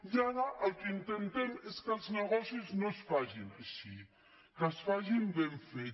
i ara el que intentem és que els negocis no es facin així que es facin ben fets